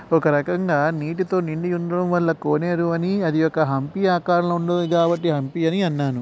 ఒక రకంగా నీటితో నిండి ఉండడం వల్లా కోనేరు అని అది ఒక హంపి ఆకారం లో ఉన్నది కాబట్టి హంపి అని అన్నాను.